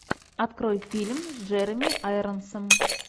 открой фильм с джереми айронсом